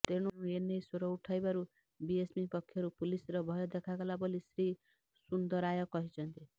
ତେଣୁ ଏନେଇ ସ୍ବର ଉଠାଇବାରୁ ବିଏମ୍ସି ପକ୍ଷରୁ ପୁଲିସ୍ର ଭୟ ଦେଖାଗଲା ବୋଲି ଶ୍ରୀ ସୁନ୍ଦରାୟ କହିଛନ୍ତି